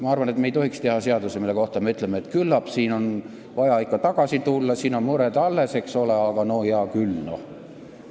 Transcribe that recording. Ma arvan, et me ei tohiks teha seadusi, mille kohta me ise ütleme, et küllap on selle juurde vaja ikka tagasi tulla, sest siin on mured alles, eks ole, aga no hea küll, noh!